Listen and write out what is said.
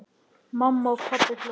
Mamma og pabbi hlógu.